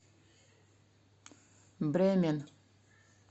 бремен